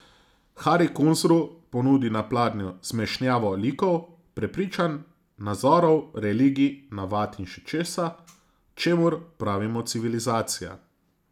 Hari Kunzru ponudi na pladnju zmešnjavo likov, prepričanj, nazorov, religij, navad in še česa, čemur pravimo civilizacija.